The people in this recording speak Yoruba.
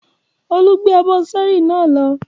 Olú gbé abọ́ ṣẹ́ẹ́rì náà lọ?